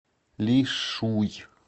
лишуй